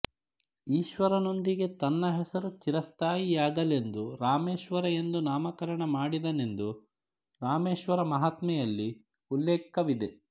ಈಶ್ವರನೊಂದಿಗೆ ತನ್ನ ಹೆಸರು ಚಿರಸ್ಥಾಯಿಯಾಗಲೆಂದು ರಾಮೇಶ್ವರ ಎಂದು ನಾಮಕರಣ ಮಾಡಿದನೆಂದು ರಾಮೇಶ್ವರ ಮಹಾತ್ಮೆಯಲ್ಲಿ ಉಲ್ಲೇಖವಿದೆ